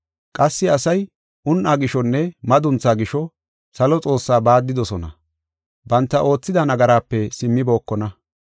Qassi asay un7aa gishonne madunthaa gisho, salo Xoossaa baaddidosona; banta oothida nagaraape simmibokona.